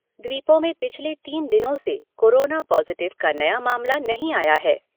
द्वीपों में पिछले तीन दिनों से कोरोना पाज़िटिव का नया मामला नहीं आया है।